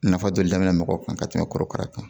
Nafa dɔ de daminɛ mɔgɔw kan ka tɛmɛ korokara kan